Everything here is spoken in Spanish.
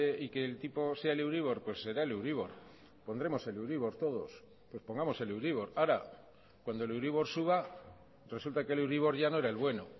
y que el tipo sea el euribor pues será el euribor pondremos el euribor todos pues pongamos el euribor ahora cuando el euribor suba resulta que el euribor ya no era el bueno